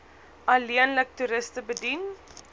alleenlik toeriste bedien